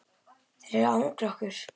Þeir eru að angra okkur.